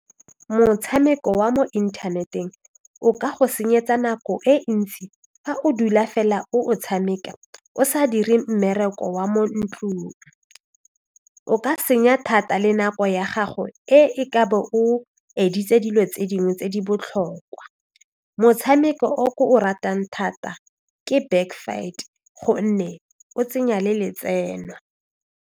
Motshameko wa mo inthaneteng o ka go senyetsa nako e ntsi fa o dula fela o o tshameka o sa dire mmereko wa mo ntlong o ka senya thata le nako ya gago e e ka bo o dilo tse dingwe tse di botlhokwa motshameko o o ratang thata ke back fight gonne o tsenya le letseno.